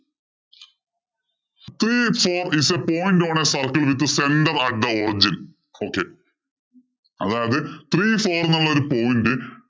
Three four is point on circle center at the original, okay അതായത് three four എന്നുള്ള ഒരു point